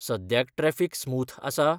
सद्याक traffic smooth आसा?